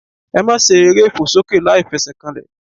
Ẹ máa se eré ìfòsókè láìfesèkanlè